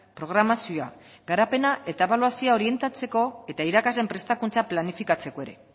programazioa garapena eta ebaluazioa orientatzeko eta irakasleen prestakuntza planifikatzeko ere